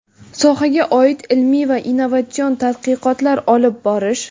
sohaga oid ilmiy va innovatsion tadqiqotlar olib borish;.